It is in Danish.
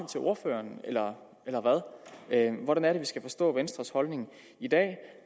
til ordføreren eller hvad hvordan skal vi forstå venstres holdning i dag